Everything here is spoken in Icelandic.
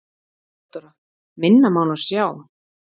THEODÓRA: Minna má nú sjá.